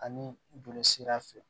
Ani joli sira fɛ